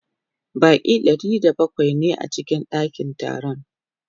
Baƙi Ɗari da bakwai ne a cikin ɗakin taron